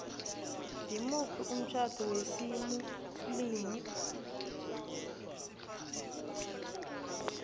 ngimuphi umtjhado wesimuslimu